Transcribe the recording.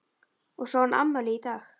Og svo á hann afmæli í dag.